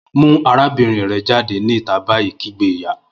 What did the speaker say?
Mu arabinrin rẹ jade ni ita bayi! kigbe iya.